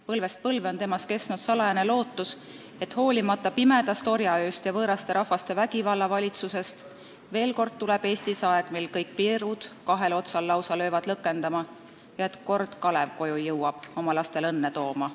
Põlvest põlve on temas kestnud salajane lootus, et hoolimata pimedast orjaööst ja võõrast rahvaste vägivallavalitsusest veel kord Eestis aeg tuleb, mil "kõik piirud kahel otsal lausa löövad lõkendama" ja et "kord Kalev koju jõuab oma lastel õnne tooma".